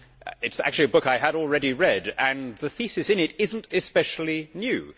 It is actually a book I had already read, and the thesis in it is not especially new.